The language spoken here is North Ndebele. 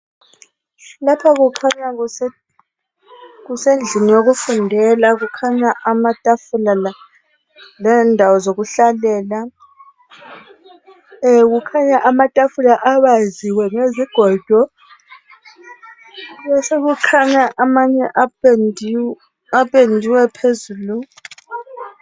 Lapha kukhanya kusendlini yokufundela ,kukhanya amatafula lendawo zokuhlalela kukhanya amatafula abaziwe ngezigodo, besekukhanya amanye apendiwe phezulu.